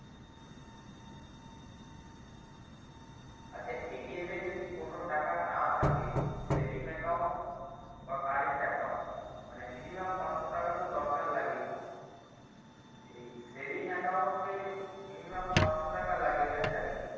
আচ্ছা এ যদি কোনো টাকা না থাকে saving account বা current account মানে minimum পাঁচশো টাকাতো দরকার লাগেই saving account এ minimum পাঁচশো টাকা লাগে এটা জানি